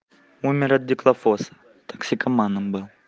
умер от дихлофоса токсикоманом был